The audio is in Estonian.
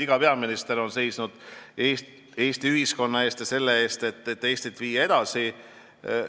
Iga peaminister on seisnud Eesti ühiskonna eest ja selle eest, et Eestit edasi viia.